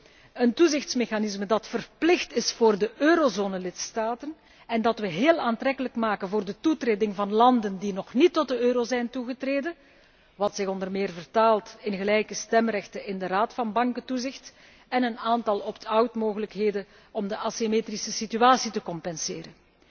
We krijgen een toezichtsmechanisme dat verplicht is voor eurolidstaten en dat wij heel aantrekkelijk maken voor de toetreding van landen die nog niet tot de euro zijn toegetreden, wat zich onder meer vertaalt in gelijke stemrechten in de Raad van bankentoezicht en een aantal opt out mogelijkheden om de assymetrische situatie te compenseren.